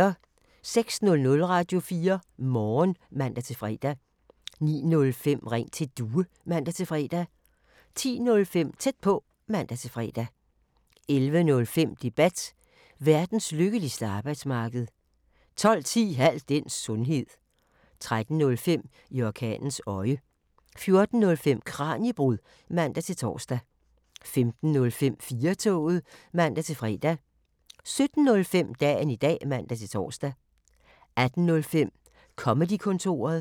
06:00: Radio4 Morgen (man-fre) 09:05: Ring til Due (man-fre) 10:05: Tæt på (man-fre) 11:05: Debat: Verdens lykkeligste arbejdsmarked 12:10: Al den sundhed 13:05: I orkanens øje 14:05: Kraniebrud (man-tor) 15:05: 4-toget (man-fre) 17:05: Dagen i dag (man-tor) 18:05: Comedy-kontoret